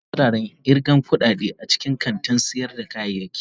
Akwai wuraren irgan kudade a cikin kantin sayar da kayayyaki.